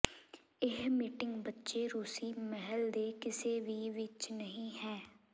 ਇਹ ਮੀਟਿੰਗ ਬਚੇ ਰੂਸੀ ਮਹਿਲ ਦੇ ਕਿਸੇ ਵੀ ਵਿੱਚ ਨਹੀ ਹੈ